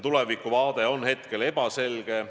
Tulevik on hetkel ebaselge.